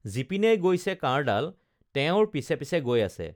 যিপিনেই গৈছে কাঁড়ডাল তেওঁৰ পিছে পিছে গৈ আছে